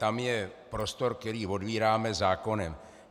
Tam je prostor, který otvíráme zákonem.